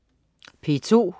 P2: